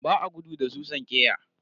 Ba a gudu da susan ƙeya.